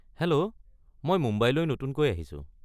Hello, মই মুম্বাইলৈ নতুনকৈ আহিছো।